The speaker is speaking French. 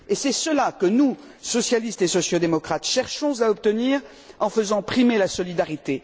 C'est cela que nous, socialistes et socio démocrates, cherchons à obtenir en faisant primer la solidarité.